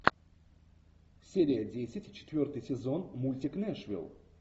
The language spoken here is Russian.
серия десять четвертый сезон мультик нэшвилл